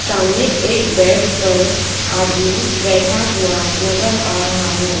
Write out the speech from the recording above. सामने एक बेड पर आदमी बैठा हुआ नजर आ रहा है।